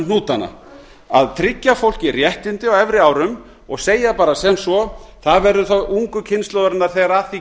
hnútana að tryggja fólki réttindi á efri árum og segja bara sem svo það verður þá ungu kynslóðarinnar þegar að því